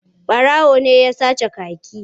Ɓarawo ne ya sace kaki.